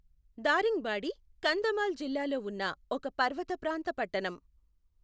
దారింగ్బాడి కంధమాల్ జిల్లాలో ఉన్న ఒక పర్వతప్రాంత పట్టణం.